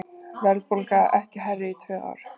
Verðbólga ekki hærri í tvö ár